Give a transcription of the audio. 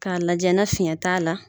K'a lajɛ ni fiɲɛ t'a la